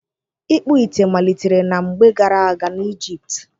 Ịkpụ ite malitere na mgbe gara aga n'Ijipt